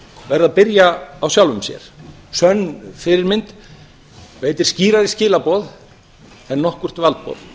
verða að byrja á sjálfum sér sönn fyrirmynd veitir skýrari skilaboð en nokkurt valdboð